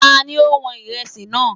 Ta ni ó wọn Ìrẹsì náà?